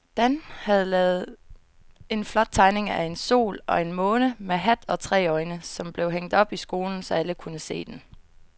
Dan havde lavet en flot tegning af en sol og en måne med hat og tre øjne, som blev hængt op i skolen, så alle kunne se den.